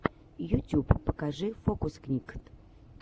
ютюб покажи фокусникд